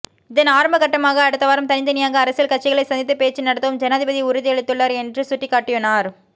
இதன் ஆரம்பகட்டமாக அடுத்த வாரம் தனித்தனியாக அரசியல் கட்சிகளை சந்தித்து பேச்சு நடத்தவும் ஜனாதிபதி உறுதியளித்துள்ளார் என்று சுட்டிக்காட்டினார்